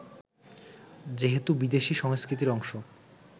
যেহেতু বিদেশি সংস্কৃতির অংশ